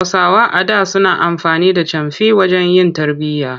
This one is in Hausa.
Hausawa a da suna amfani da camfi wajen yin tarbiyya.